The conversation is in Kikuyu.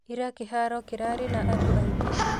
Ira kĩraho kĩrarĩ na andũ aingĩ?